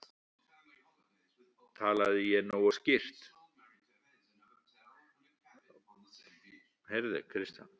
Talaði ég ekki nógu skýrt?